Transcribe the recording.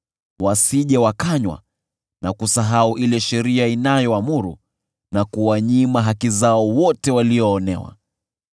wasije wakanywa na kusahau vile sheria inavyoamuru na kuwanyima haki zao wote walioonewa.